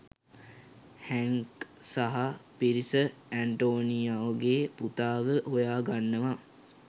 හැන්ක් සහා පිරිස ඇන්ටෝනියෝගේ පුතාව හොයා ගන්නවා.